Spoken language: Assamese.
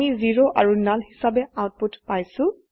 আমি 0 আৰু নাল হিসাবে আউটপুট পাইছো